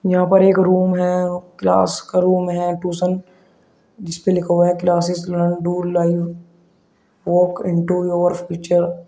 यहां पर एक रूम है और क्लास का रूम है। ट्यूशन जिसपे लिखा हुआ है classes learn do live walk into your future.